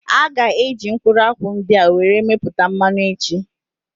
A gá eji mkpụrụ akwụ ndị a were mepụta mmanụ echi